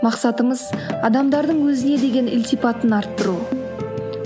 мақсатымыз адамдардың өзіне деген ілтипатын арттыру